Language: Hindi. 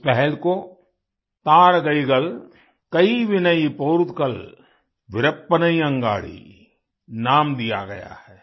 इस पहल को थारगईगल कइविनई पोरुत्तकल विरप्पनई अंगाड़ी नाम दिया गया है